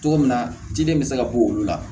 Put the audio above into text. Cogo min na ciden bɛ se ka bɔ olu la